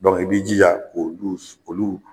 i b'i jija k'olu k'olu.